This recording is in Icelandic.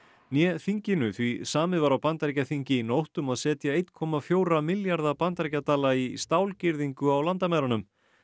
né þinginu því samið var á Bandaríkjaþingi í nótt um að setja einn komma fjóra milljarða bandaríkjadala í á landamærunum